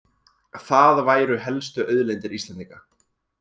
Það væru helstu auðlindir Íslendinga